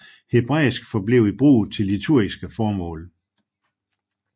Hebraisk forblev i brug til liturgiske formål